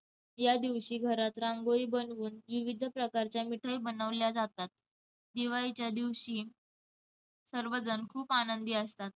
यादिवशी घरात रांगोळी बनवून विविध प्रकारच्या मिठाया बनवल्या जातात. दिवाळीच्या दिवशी सर्वजण खूप आनंदी असतात.